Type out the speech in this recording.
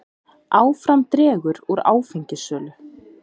Áfram dregur úr áfengissölu